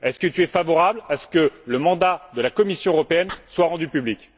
Est ce que tu es favorable à ce que le mandat de la Commission européenne soit rendu public?